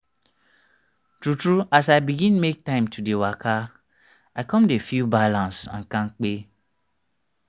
true talk as i begin make time to dey waka i come dey feel balance and kampe.